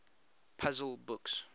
puzzle books